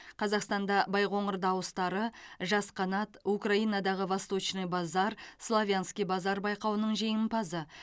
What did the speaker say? қазақстанда байқоңыр дауыстары жас қанат украинадағы восточный базар славянский базар байқауының жеңімпазы